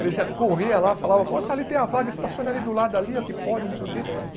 Ele já corria lá, falava, moço, ali tem a vaga, estaciona ali do lado, ali ó, que pode, não sei o quê.